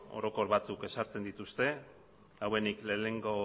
orokor batzuk ezartzen dituzte hauenik lehenengo